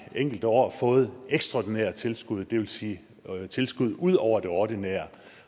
enkelte år har fået ekstraordinære tilskud det vil sige tilskud ud over det ordinære